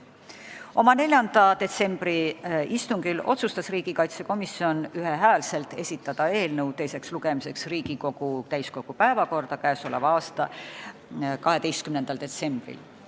Oma 4. detsembri istungil otsustas riigikaitsekomisjon ühehäälselt esitada eelnõu teiseks lugemiseks täiskogu päevakorda 12. detsembriks.